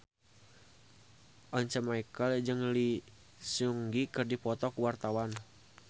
Once Mekel jeung Lee Seung Gi keur dipoto ku wartawan